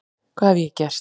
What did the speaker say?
hvað hef ég gert?